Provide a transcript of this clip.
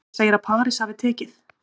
Hann segir að París hafi tekið